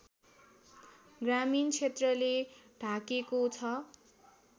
ग्रामीण क्षेत्रले ढाकेको छ